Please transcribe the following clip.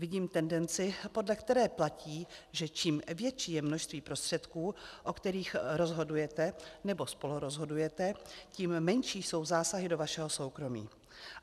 Vidím tendenci, podle které platí, že čím větší je množství prostředků, o kterých rozhodujete nebo spolurozhodujete, tím menší jsou zásahy do vašeho soukromí.